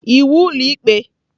Iwu ụlọ ikpe!